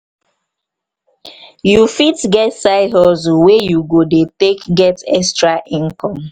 you fit get side hustle wey you go take dey get extra income